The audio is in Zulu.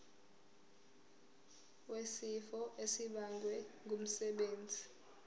wesifo esibagwe ngumsebenzi